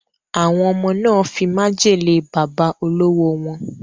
Awon omo na fi majele baba olowo won